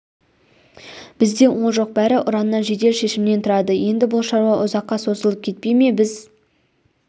бізде ол жоқ бәрі ұраннан жедел шешімнен тұрады енді бұл шаруа ұзаққа созылып кетпей ме біз